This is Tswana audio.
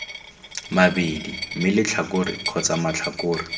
mabedi mme letlhakore kgotsa matlhakore